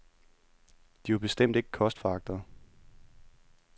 De var bestemt ikke kostforagtere.